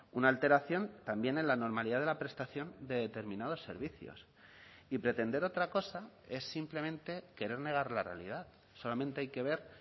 una alteración también en la normalidad de la prestación de determinados servicios y pretender otra cosa es simplemente querer negar la realidad solamente hay que ver